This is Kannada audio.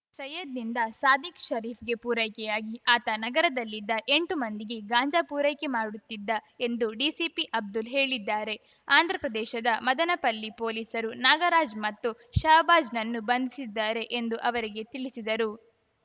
ಸಯ್ಯದ್‌ನಿಂದ ಸಾದಿಕ್‌ ಶರೀಫ್‌ಗೆ ಪೂರೈಕೆಯಾಗಿ ಆತ ನಗರದಲ್ಲಿದ್ದ ಎಂಟು ಮಂದಿಗೆ ಗಾಂಜಾ ಪೂರೈಕೆ ಮಾಡುತ್ತಿದ್ದ ಎಂದು ಡಿಸಿಪಿ ಅಬ್ದುಲ್‌ ಹೇಳಿದ್ದಾರೆ ಆಂಧ್ರಪ್ರದೇಶದ ಮದನಪಲ್ಲಿ ಪೊಲೀಸರು ನಾಗರಾಜ್‌ ಮತ್ತು ಷಹಬಾಜ್‌ನನ್ನು ಬಂಧಿಸಿದ್ದಾರೆ ಎಂದು ಅವರಿಗೆ ತಿಳಿಸಿದರು